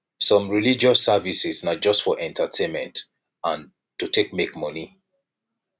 some religious services na just for entertainment and to take make moni